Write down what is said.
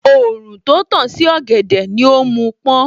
Òòrùn tó tàn sí ọ̀gẹ̀dẹ̀ ni ó mú pọ́n